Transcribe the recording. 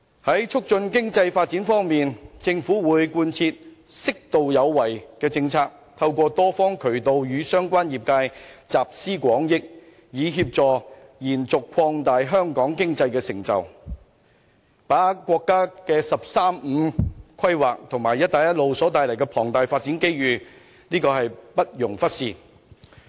在促進經濟發展方面，特區政府會貫徹"適度有為"的政策，透過多方渠道，與相關業界集思廣益，以協助延續和擴大香港的經濟成就，把握國家"十三五"規劃和"一帶一路"所帶來的龐大發展機遇，這是不容忽視的。